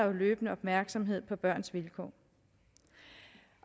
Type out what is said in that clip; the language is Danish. en løbende opmærksomhed på børns vilkår